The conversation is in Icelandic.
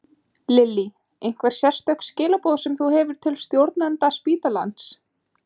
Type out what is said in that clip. Lillý: Einhver sérstök skilaboð sem þú hefur til stjórnenda spítalans?